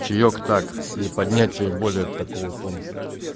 чаек так для поднятия более такого тонуса